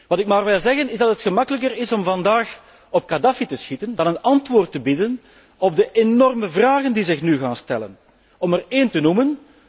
Wat ik maar wil zeggen is dat het gemakkelijker is om vandaag op Kadhaffi te schieten dan een antwoord te bieden op de enorme vragen die zich nu gaan stellen. Om er één te noemen.